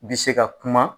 Bi se ka kuma